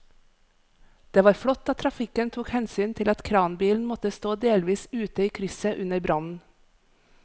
Det var flott at trafikken tok hensyn til at kranbilen måtte stå delvis ute i krysset under brannen.